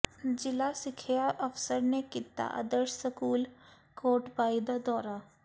ਜ਼ਿਲ੍ਹਾ ਸਿੱਖਿਆ ਅਫਸਰ ਨੇ ਕੀਤਾ ਆਦਰਸ਼ ਸਕੂਲ ਕੋਟਭਾਈ ਦਾ ਦੌਰਾ